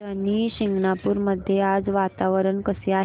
शनी शिंगणापूर मध्ये आज वातावरण कसे आहे